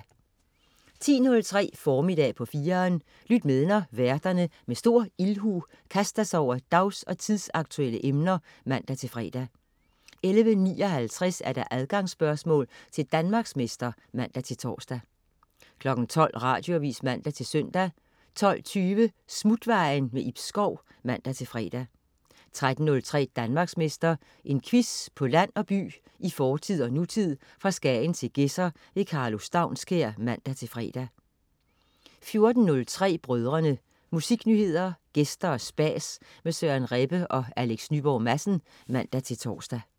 10.03 Formiddag på 4'eren. Lyt med, når værterne med stor ildhu kaster sig over dags- og tidsaktuelle emner (man-fre) 11.59 Adgangsspørgsmål til Danmarksmester (man-tors) 12.00 Radioavis (man-søn) 12.20 Smutvejen. Ib Schou (man-fre) 13.03 Danmarksmester. En quiz på land og by, i fortid og nutid, fra Skagen til Gedser. Karlo Staunskær (man-fre) 14.03 Brødrene. Musiknyheder, gæster og spas med Søren Rebbe og Alex Nyborg Madsen (man-tors)